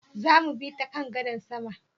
Zamu bi ta kan gadar sama?